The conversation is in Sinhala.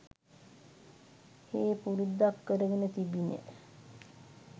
හේ පුරුද්දක්‌ කරගෙන තිබිණි.